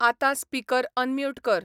आता speaker unmute कर